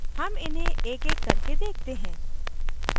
हम इन्हें एकएक करके देखते हैं